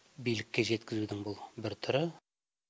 билікке жеткізудің бұл бір түрі